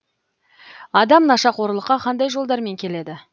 адам нашақорлыққа қандай жолдармен келеді